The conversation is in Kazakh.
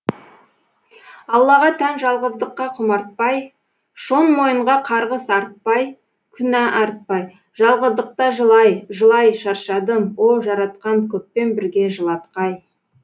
аллаға тән жалғыздыққа құмартпай шон мойынға қарғыс артпай күнә артпай жалғыздықта жылай жылай шаршадым о жаратқан көппен бірге жылатқай